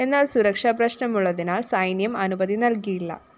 എന്നാല്‍ സുരക്ഷാ പ്രശ്‌നമുള്ളതിനാല്‍ സൈന്യം അനുമതി നല്‍കിയില്ല